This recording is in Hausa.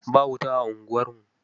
Ba wuta a unguwarmu.